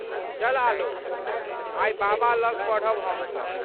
चल आलोक। आइ बाबा लग पढ़ब हमसब।